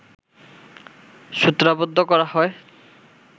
সূত্রাবদ্ধ করা হয়